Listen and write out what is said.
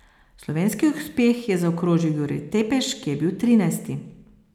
Slovenski uspeh je zaokrožil Jurij Tepeš, ki je bil trinajsti.